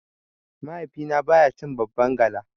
Mahaifina baya cin babban gala.